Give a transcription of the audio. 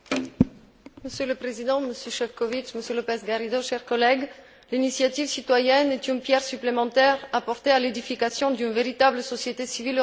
Monsieur le Président, Monsieur Šefčovič, Monsieur López Garrido, chers collègues, l'initiative citoyenne est une pierre supplémentaire apportée à l'édification d'une véritable société civile européenne.